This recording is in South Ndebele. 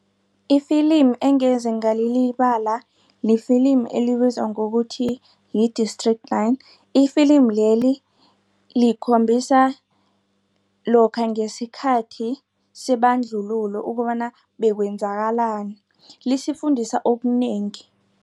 Ifilimi engeze ngalilibala lifilimi elibizwa ngokuthi yi-District Nine. Ifilimi leli likhombisa lokha ngesikhathi sebandlululo ukobana bekwenzakalani lisifundisa okunengi.